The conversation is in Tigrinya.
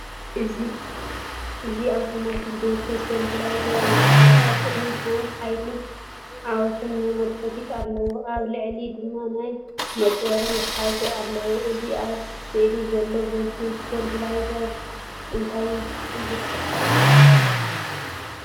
እዚ ኣውቶማቲክ ቮልቴጅ ስቴብላየዘር ይመስል። ኣብ ቅድሚት ናይ ሓይልን ዓወትን መመልከቲታት ኣለዎ፡ ኣብ ላዕሊ ድማ ናይ ምጽዋር መትሓዚ ኣለዎ። እዚ ኣብ ስእሊ ዘሎ ቮልቴጅ ስቴብላየዘር እንታይ ይገብር?